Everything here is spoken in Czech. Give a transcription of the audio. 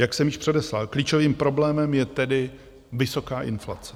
Jak jsem již předeslal, klíčovým problémem je tedy vysoká inflace.